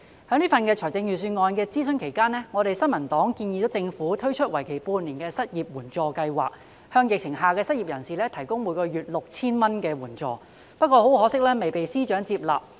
在這份財政預算案的諮詢期間，新民黨建議政府推出為期半年的失業援助計劃，向在疫情下的失業人士提供每月 6,000 元的援助，但很可惜未獲司長接納。